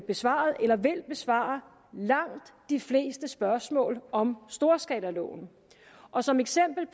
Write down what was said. besvaret eller vil besvare langt de fleste spørgsmål om storskalaloven og som eksempel